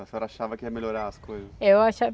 A senhora achava que ia melhorar as coisas? Eu